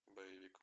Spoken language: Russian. боевик